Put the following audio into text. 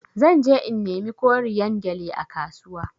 Zan je in nemi koriyan gyalle a kasuwa.